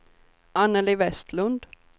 Anneli Vestlund